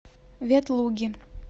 ветлуги